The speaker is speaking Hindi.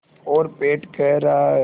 और पेट कह रहा है